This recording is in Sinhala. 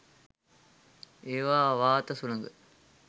ඒවා වාත සුළඟ